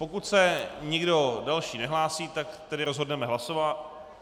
Pokud se nikdo další nehlásí, tak tedy rozhodneme hlasováním.